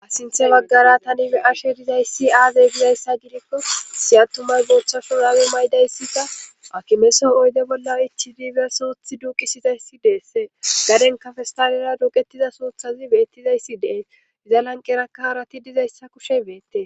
Sinthe baggara tani be ashe dizay siaaze gizayssa gidikko siyattumay guuchashu raawu maydayssika akimeso oyde bolla ichidibiya suuthi duuqisizayssi deesse gadenkafestaalera duuqettiza suuthazi beettizayssi dee izan anqerakka harati dizayssa kushe beette.